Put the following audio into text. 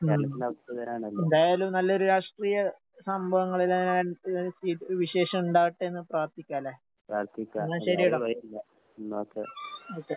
ഉം. എന്തായാലും നല്ലൊരു രാഷ്ട്രീയ സംഭവങ്ങള് വിശേഷം ഇണ്ടാവട്ടേന്ന് പ്രാർത്ഥിക്കാല്ലേ? അന്നാ ശെരിയെടാ. ഓക്കെ.